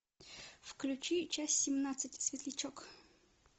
включи часть семнадцать светлячок